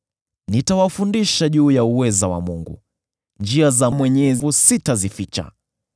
“Nitawafundisha juu ya uweza wa Mungu; njia za Mwenyezi sitazificha.